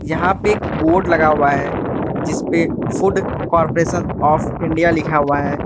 यहां पे एक बोर्ड लगा हुआ है जिस पे फूड कॉरपोरेशन आफ इंडिया लिखा हुआ है।